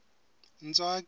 ntswaki